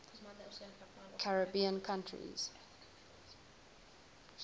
caribbean countries